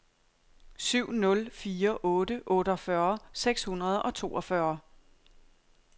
syv nul fire otte otteogfyrre seks hundrede og toogfyrre